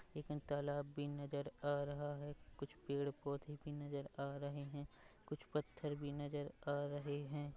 एक तालाब भी नज़र आ रहा है कुछ पेड़-पोधे भी नज़र आ रहे है कुछ पत्थर भी नज़र आ रहे है ।